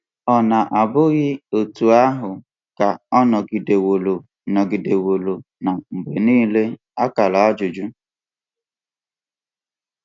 Ọ̀ na bụghị otú ahụ ka ọ nọgideworo nọgideworo na mgbe niile?